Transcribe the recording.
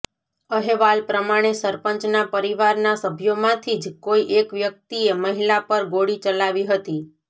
અહેવાલ પ્રમાણે સરપંચના પરિવારના સભ્યોમાંથી જ કોઈ એક વ્યક્તિએ મહિલા પર ગોળી ચલાવી હતી